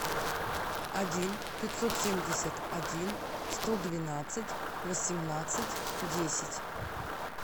один пятьсот семьдесят один сто двенадцать восемнадцать десять